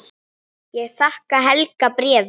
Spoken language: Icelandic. Ég þakka Helga bréfið.